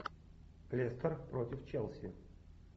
лестер против челси